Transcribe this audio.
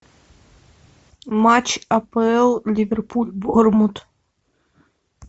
матч апл ливерпуль борнмут